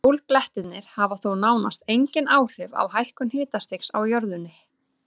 Sólblettirnir hafa þó nánast engin áhrif á hækkun hitastigs á jörðunni.